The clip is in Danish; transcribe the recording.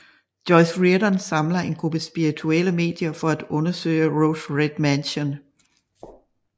Joyce Reardon samler en gruppe spirituelle medier for at undersøge Rose Red Mansion